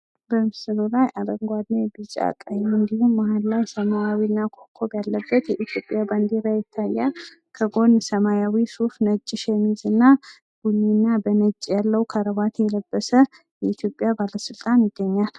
በምስሉ ላይ አረንጓዴ ቢጫ ቀይ እንዲሁም መሃል ሰማያዊና ኮከብ ያለበት የኢትዮጵያ ባንዲራ ይታያል። ከጎን ሰማያዊ ሶፍ ነጭ ሸሚዝ ቡኒና በነጭ ያለው ከርባት የለበሰ የኢትዮጵያ ባለስልጣን ይገኛል።